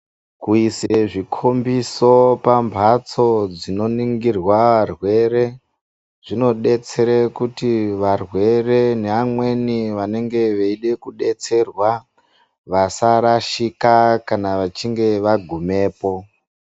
Kuise zvikhombise pambatso zvinoningirwa arwere. Zvinodetsere kuti varwere ne amweni vanenge veyide kudetserwa vasa rashika kana vachinge vagumepo.